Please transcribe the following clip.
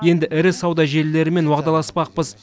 енді ірі сауда желілерімен уағдаласпақпыз